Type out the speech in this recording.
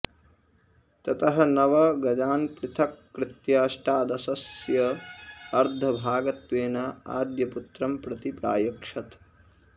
ततः नव गजान् पृथक्कृत्य अष्टादशस्य अर्धभागत्वेन आद्यपुत्रं प्रति प्रायच्छत्